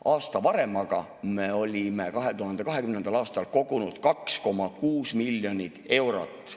Aasta varem, 2020. aastal kogusime 2,6 miljonit eurot.